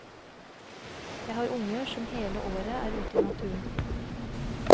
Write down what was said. Jeg har unger som hele året er ute i naturen.